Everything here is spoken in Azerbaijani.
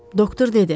Doktor dedi.